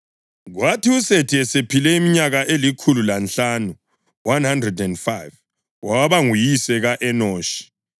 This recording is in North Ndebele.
Kwathi uSethi esephile iminyaka elikhulu lanhlanu (105) waba nguyise ka-Enoshi.